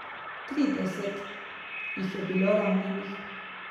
Trideset jih je bilo ranjenih.